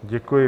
Děkuji.